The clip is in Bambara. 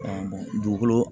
dugukolo